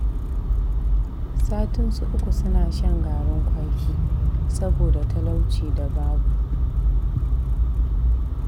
Satinsu uku suna shan garin kwaki, saboda talauci da babu